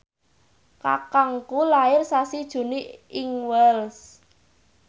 kakangku lair sasi Juni ing Wells